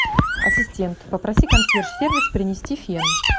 ассистент попроси консьерж сервис принести фен